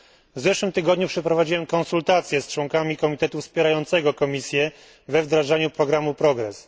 W zeszłym tygodniu przeprowadziłem konsultację z członkami komitetu wspierającego Komisję we wdrażaniu programu Progress.